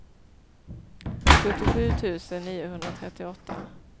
sjuttiosju tusen niohundratrettioåtta